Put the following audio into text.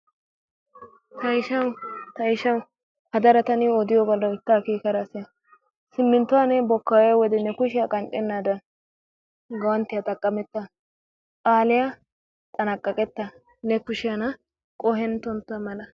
Ta ishshawu ta ishshawu hadara ta niyoo odiyoobaa loytta akeekada siya siminttuwa ne bokkayiyowode ne kushshiyaa qanxxenaadan guwanttiya xaqametta aliya xanaqaqetta ne kushshena qohetontta mala.